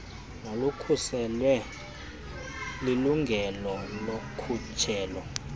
nolukhuselwe lilungelo lokhutshelo